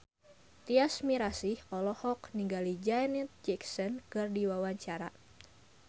Tyas Mirasih olohok ningali Janet Jackson keur diwawancara